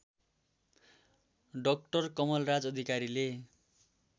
doctor Kamalraj अधिकारीले